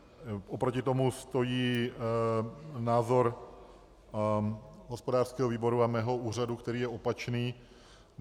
Oproti tomu stojí názor hospodářského výboru a mého úřadu, který je opačný.